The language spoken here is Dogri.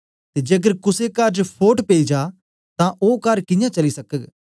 ते जेकर कुसे कर च फोट पेई जा तां ओ कर कियां चली सकग